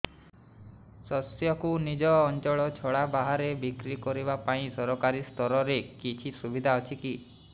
ଶସ୍ୟକୁ ନିଜ ଅଞ୍ଚଳ ଛଡା ବାହାରେ ବିକ୍ରି କରିବା ପାଇଁ ସରକାରୀ ସ୍ତରରେ କିଛି ସୁବିଧା ଅଛି କି